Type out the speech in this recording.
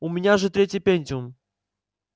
у меня же третий пентиум